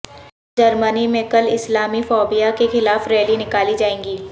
جرمنی میں کل اسلامی فوبیا کے خلاف ریلی نکالی جائے گی